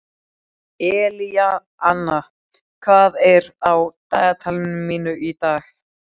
Elíanna, hvað er á dagatalinu mínu í dag?